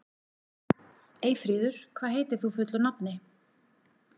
Eyfríður, hvað heitir þú fullu nafni?